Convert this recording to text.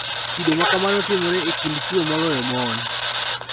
Kido ma kamano timore e kind chwo moloyo mon